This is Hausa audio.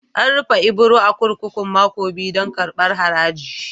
An rufe Ibro a'kurkuku mako biyu dan karban haraji.